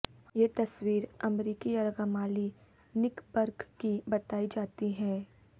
یہ تصویر امریکی یرغمالی نک برگ کی بتائی جاتی ہے